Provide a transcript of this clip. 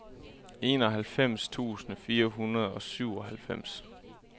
enoghalvfems tusind fire hundrede og syvoghalvfems